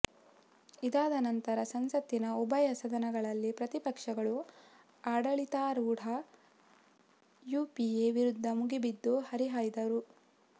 ಇದಾದ ನಂತರ ಸಂಸತ್ತಿನ ಉಭಯ ಸದನಗಳಲ್ಲಿ ಪ್ರತಿಪಕ್ಷಗಳು ಆಡಳಿತಾರೂಢ ಯುಪಿಎ ವಿರುದ್ಧ ಮುಗಿಬಿದ್ದು ಹರಿಹಾಯ್ದಿದ್ದವು